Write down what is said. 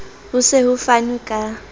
ho se ho fanwe ka